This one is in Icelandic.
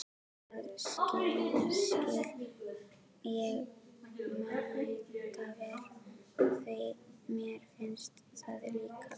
Það skil ég mætavel, því mér finnst það líka!